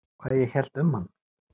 Hvað ég hélt um hann?